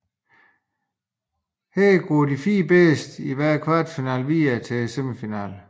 Her går de fire bedste i hver kvartfinale videre til semifinalerne